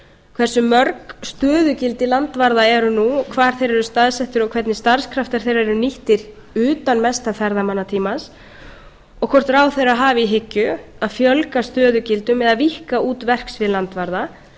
hversu mörg stöðugildi landvarða eru nú og hvar þeir eru staðsettir og hvernig starfskraftar þeirra eru nýttir utan mesta ferðamannatímans og hvort ráðherra hafi í hyggju að fjölga stöðugildum eða víkka út verksvið landvarða